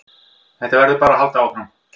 Þetta verður bara að halda áfram